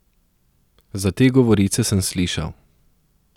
Za te govorice sem slišal.